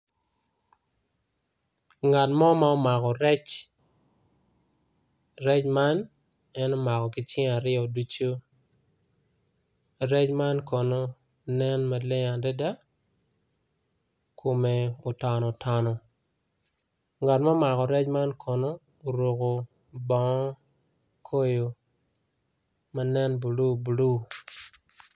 Ngat mo ma omako rec, rec man en omako kicinge aryo ducu rec man kono nen maleng adada kome otonotono ngat ma omako rec man kono oruko bongo ma koyo manen blue blue.